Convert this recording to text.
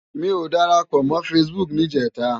Mi ó dárápò mò fãsibúk nijètá